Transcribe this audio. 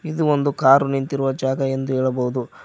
ಇದು ಒಂದು ಕಾರು ನಿಂತಿರುವ ಜಾಗ ಎಂದು ಹೇಳಬಹುದು.